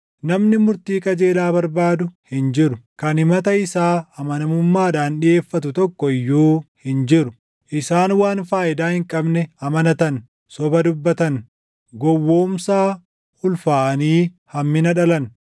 Namni murtii qajeelaa barbaadu hin jiru; kan himata isaa amanamummaadhaan dhiʼeeffatu // tokko iyyuu hin jiru. Isaan waan faayidaa hin qabne amanatan; soba dubbatan; gowwoomsaa ulfaaʼanii hammina dhalan.